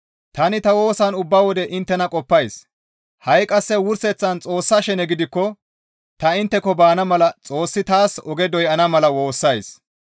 Tani ta woosan ubba wode inttena qoppays; ha7i qasse wurseththan Xoossa shene gidikko ta intteko baana mala Xoossi taas oge doyana mala woossays.